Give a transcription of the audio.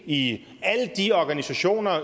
i alle de organisationer